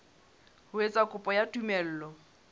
ho etsa kopo ya tumello